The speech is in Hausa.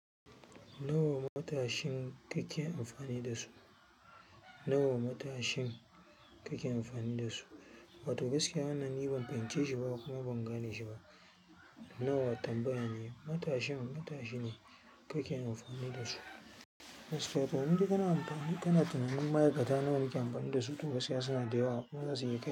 Nawa matashi kake amfani da su? Nawa matashi kake amfani da su? Wato gaskiya wannan ni ban fahimce shi ba kuma ban gane shi ba. Nawa tambaya ne. Matashin matashi ne kake amfani da su. Wato in dai kana tunanin ma'aikata nawa nike amfani da su? To gaskiya suna da yawa, kuma zasu iya ba.